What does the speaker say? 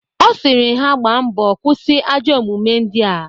Ọ sịrị ha gbaa mbo kwụsị ajọ omume ndịa